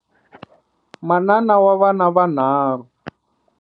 Manana wa vana vanharhu.